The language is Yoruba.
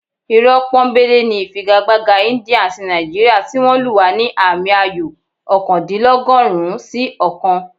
Irọ́ pọ́nńbélé ni ìfigagbága India àti Nàìjíríà tí wọ́n lù wá ní àmì ayò ọ̀kándínlọ́gọ́rùn-ún sí ọ̀kan